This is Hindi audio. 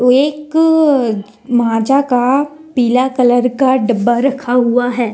एक माजा का पीला कलर का डब्बा रखा हुआ है।